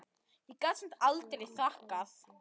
Ég gat samt aldrei þakkað